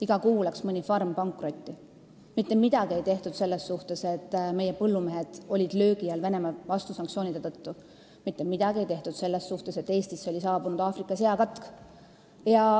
Iga kuu läks mõni farm pankrotti, mitte midagi ei tehtud selles suhtes, et meie põllumehed olid löögi all Venemaa vastusanktsioonide tõttu, mitte midagi ei tehtud selles suhtes, et Eestisse oli saabunud Aafrika seakatk.